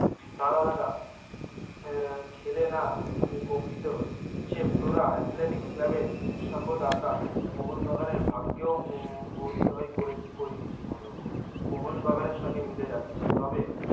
রাধা দাদা আহ খেলে না কম্পিত হলো সে ফ্লোরা এথলেটিক ক্লাবের উৎসাহ দাতা মোহন বাগানের ভাগ্যে ও করে করিনি জীবনে ও মোহন বাগানের সঙ্গে মিলে যাচ্ছে তবে